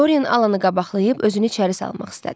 Doren Alanı qabaqlayıb özünü içəri salmaq istədi.